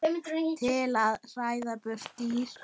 til að hræða burt dýr.